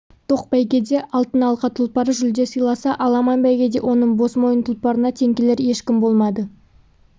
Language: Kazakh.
тоқ бәйгеде алтын алқа тұлпары жүлде сыйласа аламан бәйгеде оның босмойын тұлпарына тең келер ешкім болмады